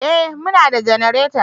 Eh muna da janareta